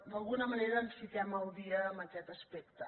d’alguna manera ens fiquem al dia en aquest aspecte